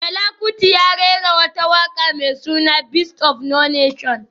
Fela Kuti ya rera wata waka mai suna Beast of no nation